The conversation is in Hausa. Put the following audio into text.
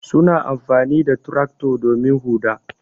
Suna amfani da tractor domin huɗa.